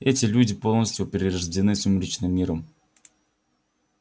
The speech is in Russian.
это люди полностью перерождённые сумеречным миром